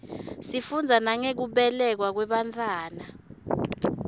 sifundza nangekubelekwa kwebantfwana